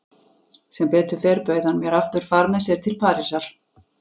Sem betur fer bauð hann mér aftur far með sér til Parísar.